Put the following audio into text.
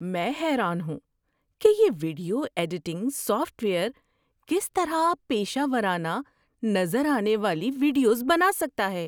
میں حیران ہوں کہ یہ ویڈیو ایڈیٹنگ سافٹ ویئر کس طرح پیشہ ورانہ نظر آنے والی ویڈیوز بنا سکتا ہے۔